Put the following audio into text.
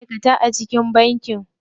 Akwai ma'aikata a cikin banki.